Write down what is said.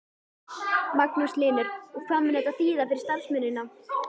Magnús Hlynur: Og hvað mun þetta þýða fyrir starfsemina?